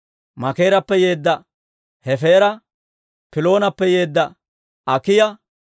Makeerappe yeedda Hefeera, Piloonappe yeedda Akiiya,